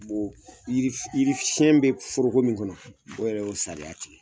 Yiri yiri fiɲɛ bɛ foroko mun kɔnɔ, o yɛrɛ y'o sariya tigɛ.